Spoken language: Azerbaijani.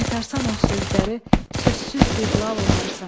Qaytarsan o sözləri, sözsüz bir lal olarsan.